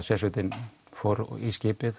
sérsveitin kom í skipið